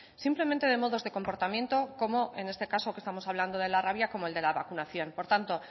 simplemente de modos de comportamiento como en este caso que estamos hablando de la rabia como el de la vacunación por tanto